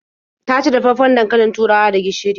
Ta ci dafaffen dankalin turawa da gishiri.